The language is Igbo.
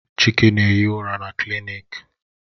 Chike na-ehi ụra na klịniki